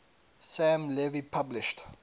sam levy published